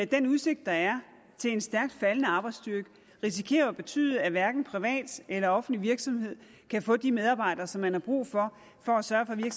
den udsigt der er til en stærkt faldende arbejdsstyrke risikerer at betyde at hverken private eller offentlige virksomheder kan få de medarbejdere som man har brug for for at sørge